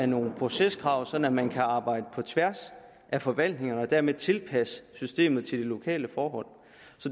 nogle proceskrav sådan at man kan arbejde på tværs af forvaltningerne og dermed tilpasse systemet til de lokale forhold